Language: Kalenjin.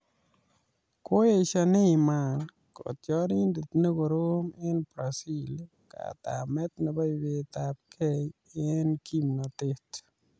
Koesio Neymar, kotiorindet ne korom eng Brazil katamet nebo ibetab kei eng kimnotet